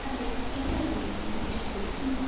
Það var uppgerðar undrun í svipnum.